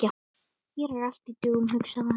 Hér er allt í dögun, hugsaði hann.